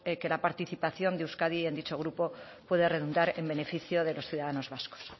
que la participación de euskadi en dicho grupo puede redundar en beneficio de los ciudadanos vascos